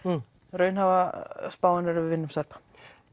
raunhæfa spáin er að við vinnum Serba